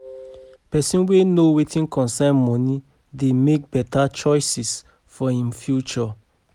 Pesin wey know wetin concern moni dey mek beta choices for im future